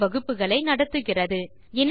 செய்முறை வகுப்புகளை நடத்துகிறது